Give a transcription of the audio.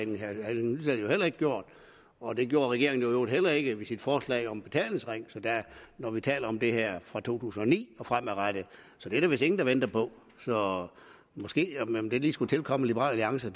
heller ikke gjort og det gjorde regeringen i øvrigt heller ikke ved sit forslag om betalingsringen når vi taler om det her fra to tusind og ni og fremadrettet så det er der vist ingen der venter på om det lige skulle tilkomme liberal alliance